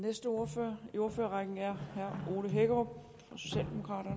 næste ordfører i ordførerrækken er herre herre